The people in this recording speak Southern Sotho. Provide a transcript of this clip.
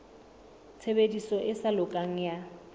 tshebediso e sa lokang ya